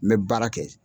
N bɛ baara kɛ